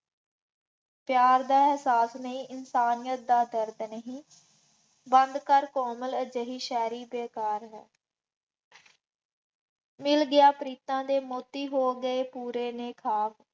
ਪਿਆਰ ਦਾ ਅਹਿਸਾਸ ਨਹੀਂ, ਇਨਸਾਨੀਅਤ ਦਾ ਦਰਦ ਨਹੀਂ ਬੰਦ ਕਰ ਕੋਮਲ ਅਜਿਹੀ ਸ਼ਾਇਰੀ ਬੇਕਾਰ ਹੈ। ਮਿਲ ਗਿਆ ਪ੍ਰੀਤਾਂ ਦੇ ਮੋਤੀ ਹੋ ਗਏ ਪੂਰੇ ਨੇ ਖਾਅਬ